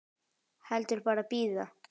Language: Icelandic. Heldur bara bíða.